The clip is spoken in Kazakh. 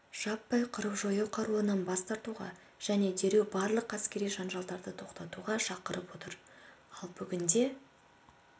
жаппай қырып-жою қаруынан бас тартуға және дереу барлық әскери жанжалдарды тоқтатуға шақырып отыр ал бүгінде